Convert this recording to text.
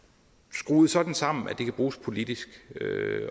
skruet sådan sammen at det kan bruges politisk